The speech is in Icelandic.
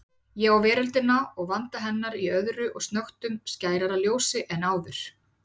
Ég sé veröldina og vanda hennar í öðru og snöggtum skærara ljósi en áður.